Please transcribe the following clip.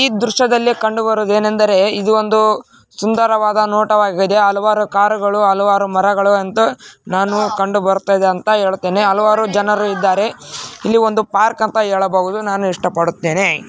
ಈ ದೃಶ್ಯದಲ್ಲಿ ಕಂಡು ಬರುವುದು ಏನೆಂದರೆ ಇದು ಒಂದು ಸುಂದರವಾದ ನೋಟವಾಗಿದೆ ಹಲವಾರು ಕಾರುಗಳು ಹಲವಾರು ಮರಗಳು ಅಂತಾ ನಾನು ಕಂಡು ಬರ್ತಾದೆ ಅಂತಾ ಹೇಳ್ತೀನಿ ಹಲವಾರು ಜನರು ಇದ್ದಾರೆ ಇಲ್ಲಿ ಒಂದು ಪಾರ್ಕ್‌ ಅಂತಾ ಹೇಳಬಹುದು ನಾನು ಇಷ್ಟ ಪಡುತ್ತೇನೆ.